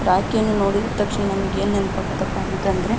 ರಾಕಿನ ನೋಡಿದ್ ತಕ್ಷಣ ನಮಗೆ ಏನ್ ನೆನಪ್ ಆಖ್ತಥ ಅಂದ್ರೆ --